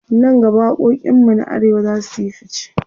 nan gaba waƙoƙin mu na arewa zasuyi ficce